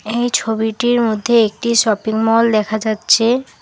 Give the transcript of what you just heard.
এই ছবিটির মধ্যে একটি শপিংমল দেখা যাচ্ছে।